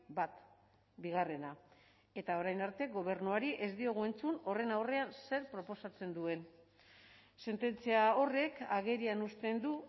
bat bigarrena eta orain arte gobernuari ez diogu entzun horren aurrean zer proposatzen duen sententzia horrek agerian uzten du